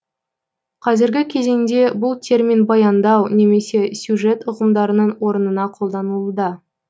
қазіргі кезеңде бұл термин баяндау немесе сюжет ұғымдарының орынына қолданылуда